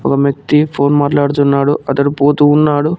ఒక వ్యక్తి ఫోన్ మాట్లాడుతున్నాడు అతడు పోతూ ఉన్నాడు.